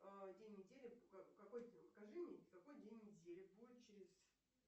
а день недели покажи мне какой день недели будет через